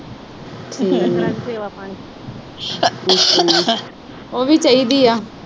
ਉਹ ਵੀ ਚਾਹੀਦੀ ਆ।